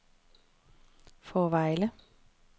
Fårevejle